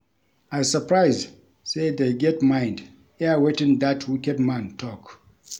I surprise say dey get mind air wetin dat wicked man talk